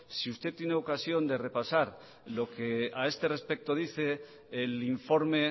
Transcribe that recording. si usted tiene ocasión de repasar lo que ha este respecto dice el informe